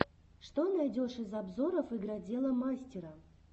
что найдешь из обзоров игродела мастера